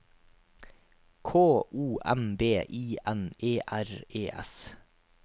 K O M B I N E R E S